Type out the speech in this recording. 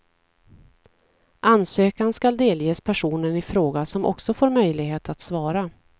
Ansökan skall delges personen i fråga, som också får möjlighet att svara.